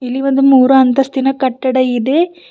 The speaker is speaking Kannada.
ಇಲ್ಲಿ ಒಂದು ಮೂರು ಅಂತಸ್ತಿನ ಕಟ್ಟಡ ಇದೆ.